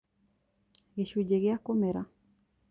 Gĩcunjĩ gĩa kũmera